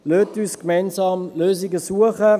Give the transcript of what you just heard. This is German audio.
Lassen Sie uns gemeinsam Lösungen suchen!